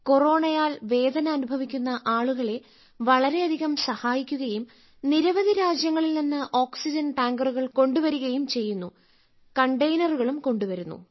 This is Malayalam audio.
കൊറോണയാൽ വേദന അനുഭവിക്കുന്ന ആളുകളെ വളരെയധികം സഹായിക്കുകയും നിരവധി രാജ്യങ്ങളിൽ നിന്ന് ഓക്സിജൻ ടാങ്കറുകൾ കൊണ്ടു വരികയും ചെയ്യുന്നു കണ്ടെയ്നറുകളും കൊണ്ടുവരുന്നു